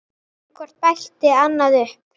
En hvort bætti annað upp.